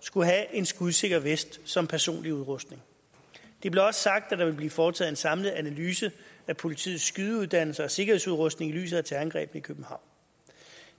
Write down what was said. skulle have en skudsikker vest som personlig udrustning det blev også sagt at der vil blive foretaget en samlet analyse af politiets skydeuddannelse og sikkerhedsudrustning i lyset af terrorangrebene i københavn